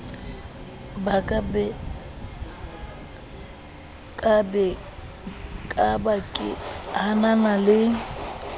ka ba ke hanana le